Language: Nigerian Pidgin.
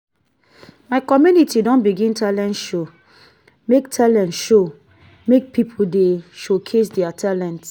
my community don begin talent show make talent show make pipo dey showcase their talent.